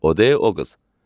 O deyil o qız.